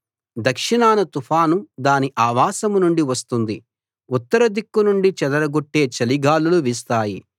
దక్షిణాన తుఫాను దాని ఆవాసం నుండి వస్తుంది ఉత్తర దిక్కు నుండి చెదరగొట్టే చలి గాలులు వీస్తాయి